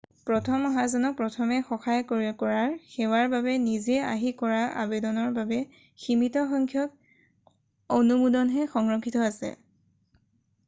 প্ৰথম অহাজনক প্ৰথমে সহায় কৰাৰ সেৱাৰ বাবে নিজে আহি কৰা আবেদনৰ বাবে সীমিত সংখ্যক অনুমোদনহে সংৰক্ষিত আছে